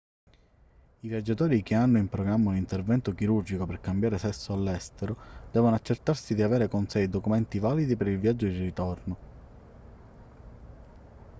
i viaggiatori che hanno in programma un intervento chirurgico per cambiare sesso all'estero devono accertarsi di avere con sé i documenti validi per il viaggio di ritorno